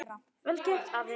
Vel gert, afi.